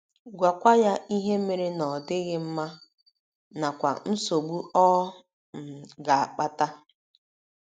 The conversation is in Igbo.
Gwakwa ya ihe mere na ọ dịghị mma, nakwa nsogbu ọ um ga - akpata.